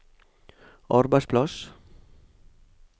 arbeidsplass